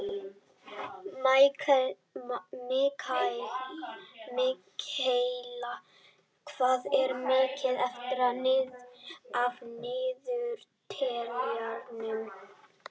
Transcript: Mikaela, hvað er mikið eftir af niðurteljaranum?